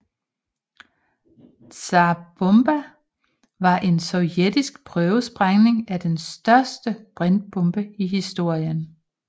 Tsar Bomba var en sovjetisk prøvesprængning af den største brintbombe i historien